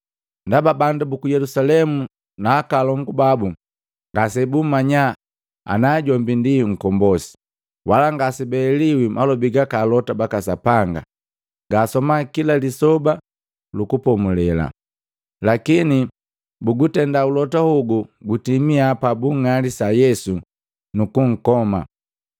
Ndaba bandu buku Yelusalemu na akolongu babu ngasebummanya ana jombi nkombosi, wala ngasebaeliwi malobi gaka alota baka Sapanga gaasoma kila Lisoba lu Kupomulela. Lakini bugutenda ulota hogu gutimia pabung'alisa Yesu nukunkoma.